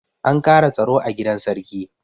An ƙara tsaro a gidan sarki.